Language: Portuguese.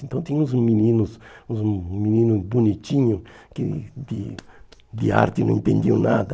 Então tinha uns meninos, uns meninos bonitinhos, que de de arte não entendiam nada.